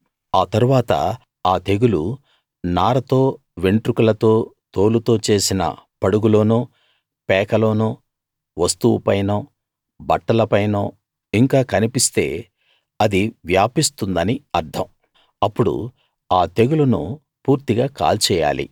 ఆ తరువాత ఆ తెగులు నారతో వెంట్రుకలతో తోలుతో చేసిన పడుగులోనో పేకలోనో వస్తువుపైనో బట్టలపైనో ఇంకా కన్పిస్తే అది వ్యాపిస్తుందని అర్థం అప్పుడు ఆ తెగులును పూర్తిగా కాల్చేయాలి